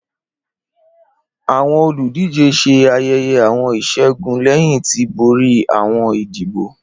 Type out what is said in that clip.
Awọn oludije ṣe ayẹyẹ awọn iṣẹgun lẹhin ti bori awọn idibo.